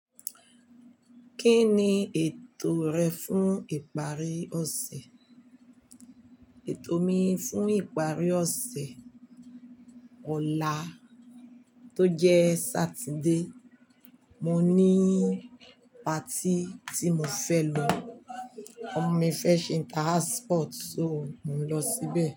Kí ni ètò rẹ fún ìparí ọ̀sẹ̀? Ètò mi fún ìparí ọ̀sẹ̀ ọ̀la tó jẹ́ Sátidé, mo ní patí tí mo fẹ́ lọ. Ọmọ mi fẹ́ ṣe inter house sport, so mo ń lọ síbẹ̀